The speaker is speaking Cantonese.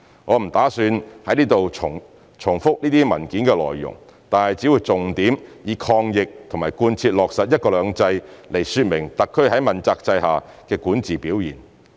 我不打算在此重複這些文件的內容，但只會重點以抗疫和貫徹落實"一國兩制"來說明特區在問責制下的管治表現。